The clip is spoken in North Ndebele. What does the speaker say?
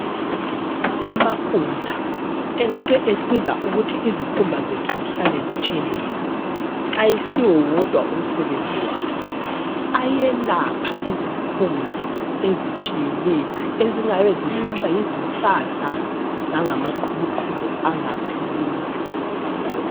Amafutha engabe esiza ukuthi izikhumba zethu zihlale zitshelela ,ayisiwo wodwa umsebenzi wawo ,ayelapha izikhumba ezitshiyeneyo ezingabe zihlutshwa yizisasa langamaqhubuqhubu angapheliyo